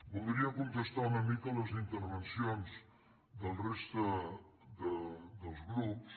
voldria contestar una mica les intervencions de la res·ta dels grups